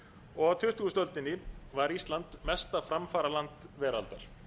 og á tuttugustu öldinni var ísland mesta framfaraland veraldar